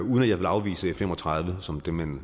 jeg vil afvise f fem og tredive som det man